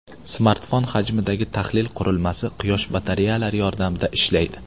Smartfon hajmidagi tahlil qurilmasi quyosh batareyalari yordamida ishlaydi.